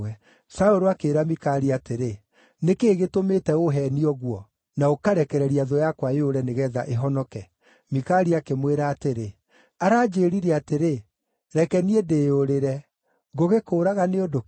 Saũlũ akĩĩra Mikali atĩrĩ, “Nĩ kĩĩ gĩtũmĩte ũũheenie ũguo, na ũkarekereria thũ yakwa yũre, nĩgeetha ĩhonoke?” Mikali akĩmwĩra atĩrĩ, “Aranjĩĩrire atĩrĩ, ‘Reke niĩ ndĩĩyũrĩre. Ngũgĩkũũraga nĩ ũndũ kĩ?’ ”